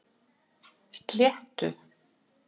Sléttu